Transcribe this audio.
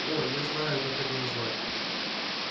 о я знаю как это назвать